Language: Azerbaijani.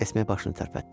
Esme başını tərpətdi.